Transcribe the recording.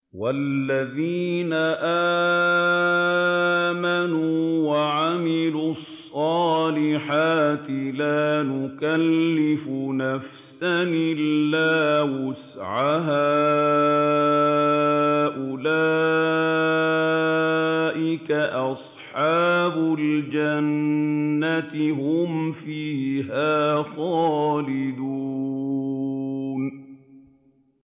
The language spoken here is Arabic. وَالَّذِينَ آمَنُوا وَعَمِلُوا الصَّالِحَاتِ لَا نُكَلِّفُ نَفْسًا إِلَّا وُسْعَهَا أُولَٰئِكَ أَصْحَابُ الْجَنَّةِ ۖ هُمْ فِيهَا خَالِدُونَ